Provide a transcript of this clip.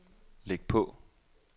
læg på